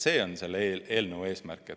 See on selle eelnõu eesmärk.